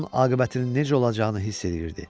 Onun aqibətinin necə olacağını hiss eləyirdi.